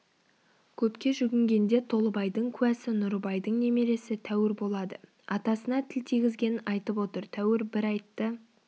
көпке жүгінгенде толыбайдың куәсі нұрыбайдың немересі тәуір болады атасына тіл тигізгенін айтып отыр тәуір бір айтты